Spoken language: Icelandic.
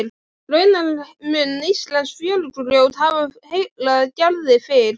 Raunar mun íslenskt fjörugrjót hafa heillað Gerði fyrr.